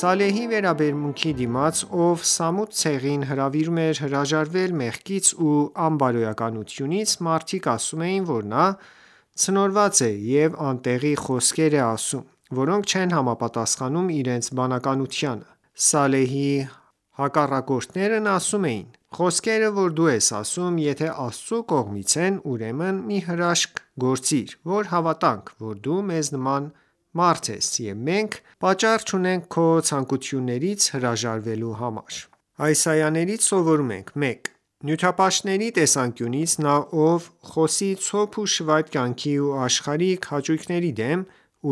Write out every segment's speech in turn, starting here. Սալեհի վերաբերմունքի դիմաց, ով Սամուդ ցեղին հրավիրում էր հրաժարվել մեղքից ու անբարոյականությունից, մարդիկ ասում էին, որ նա ցնորված է և անտեղի խոսքեր է ասում, որոնք չեն համապատասանում իրենց բանականությանը: Սալեհի հակառակորդներն ասում էին,- Խոսքերը որ դու ասում ես, եթե Աստծու կողմից են, ուրեմն մի հրաշք գործիր, որ հավատանք, որ դու մեզ նման մարդ ես և մենք պատճառ չունենք քո ցանկություններից հրաժարվելու համար: Այս այաներից սովորում ենք. 1. Նյութապաշտների տեսանկյունից, նա, ով խոսի ցոփ ու շվայտ կյանքի ու աշխարհիկ հաճույքների դեմ,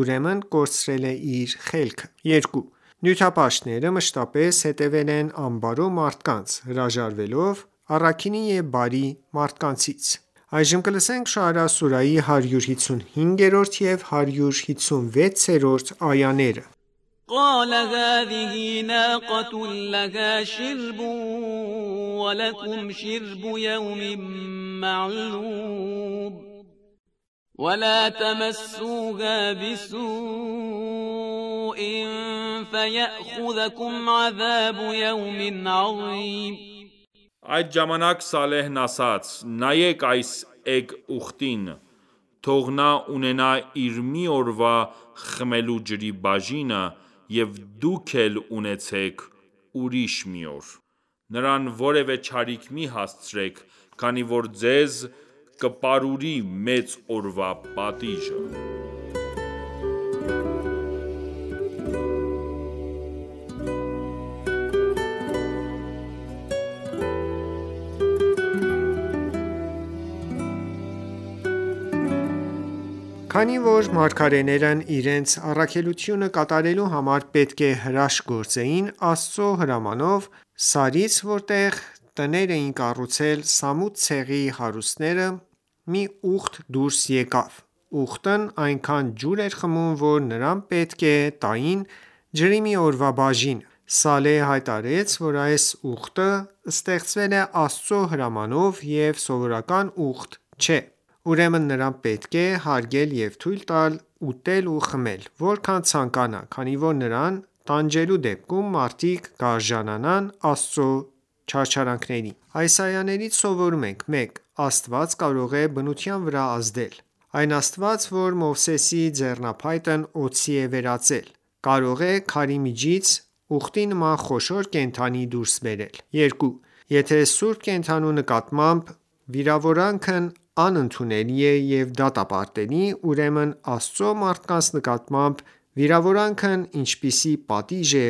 ուրեմն կորցրել է իր խելքը: 2. Նյութապաշտները մշտապես հետևել են անբարո մարդկանց, հրաժարվելով առաքինի և բարի մարդկանցից: Շոարա սուրահի 155 և 156-րդ այաներ قَالَ هَذِهِ نَاقَةٌ لَّهَا شِرْبٌ وَلَکُمْ شِرْبُ یَوْمٍ مَّعْلُومٍ وَلَا تَمَسُّوهَا بِسُوءٍ فَیَأْخُذَکُمْ عَذَابُ یَوْمٍ عَظِیمٍ (Այդ ժամանակ Սալեհն) ասաց. «Նայեք այս էգ ուղտին: Թող նա ունենա իր մի օրվա խմելու ջրի բաժինը և դուք էլ ունեցեք ուրիշ մի օր»: Նրան որևէ չարիք մի հասցրեք, քանի որ ձեզ կպարուրի մեծ օրվա պատիժը: Քանի որ մարգարեներն իրենց առաքելությունը կատարելու համար պետք է հրաշք գործեին, Աստծու հրամանով, սարից, որտեղ տներ էին կառուցել Սամուդ ցեղի հարուստները, մի ուղտ դուրս եկավ: Ուղտն այնքան ջուր էր խմում, որ նրան պետք է տային ջրի մի օրվա բաժինը: Սալեհը հայտարարեց, որ այս ուղտը ստեղծվել է Աստծու հրամանով ու սովորական ուղտ չէ: Ուրեմն նրան պետք է հարգել և թույլ տալ ուտել ու խմել որքան ցանկանա, քանի որ նրան տանջելու դեպքում, մարդիկ կարժանանան Աստծու չարչարանքներին: Այս այաներից սովորում ենք. 1. Աստված կարող է բնության վրա ազդել: Այն Աստված որ Մովսեսի ձեռնափայտն օձի է վերածել, կարող է քարի միջից ուղտի նման խոշոր կենդանի դուրս բերել: 2. Եթե սուրբ կենդանու նկատմամբ վիրավորանքն անընդունելի է և դատապարտելի, ուրեմն Աստծու մարդկանց նկատմամբ վիրավորանքն ինչպիսի պատիժ է